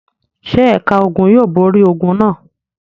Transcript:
Ṣé ẹ̀ka ogun yóò borí ogun náà?